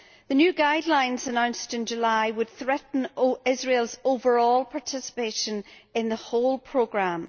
The new guidelines announced in July would threaten Israel's overall participation in the whole programme.